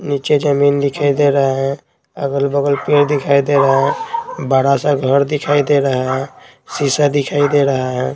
नीचे जमीन दिखाई दे रहा है अगल-बगल पेड़ दिखाई दे रहा है बड़ा सा घर दिखाई दे रहा है शीशा दिखाई दे रहा है।